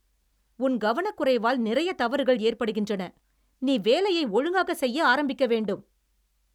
உன் கவனக்குறைவால் நிறைய தவறுகள் ஏற்படுகின்றன. நீ வேலையை ஒழுங்காகச் செய்ய ஆரம்பிக்க வேண்டும்.